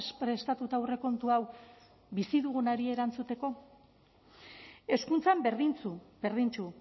prestatuta aurrekontu hau bizi dugunari erantzuteko hezkuntzan berdintsu berdintsu